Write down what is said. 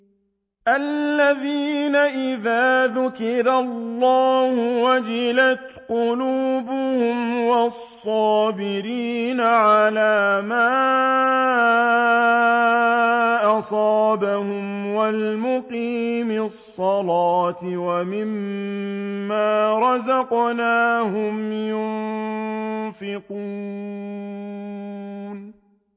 الَّذِينَ إِذَا ذُكِرَ اللَّهُ وَجِلَتْ قُلُوبُهُمْ وَالصَّابِرِينَ عَلَىٰ مَا أَصَابَهُمْ وَالْمُقِيمِي الصَّلَاةِ وَمِمَّا رَزَقْنَاهُمْ يُنفِقُونَ